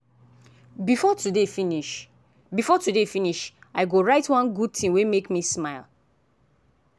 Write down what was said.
before today finish before today finish i go write one good thing wey make me smile.